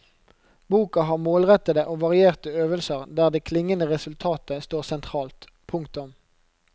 Boka har målrettede og varierte øvelser der det klingende resultatet står sentralt. punktum